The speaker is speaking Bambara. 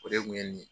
O de kun ye nin ye